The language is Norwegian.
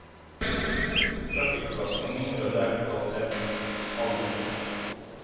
Trafikkbelastningen i området er, totalt sett, halvert.